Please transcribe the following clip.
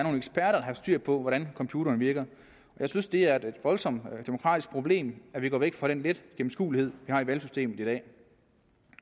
er der har styr på hvordan computeren virker jeg synes det er et voldsomt demokratisk problem at vi går væk fra den lette gennemskuelighed vi har i valgsystemet i dag